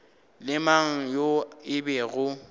le mang yo e bego